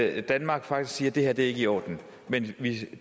at danmark faktisk siger det her er ikke i orden men vi